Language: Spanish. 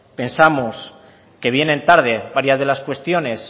pensamos que vienen tarde varias de las cuestiones